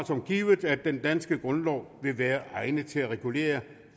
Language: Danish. som givet at den danske grundlov vil være egnet til at regulere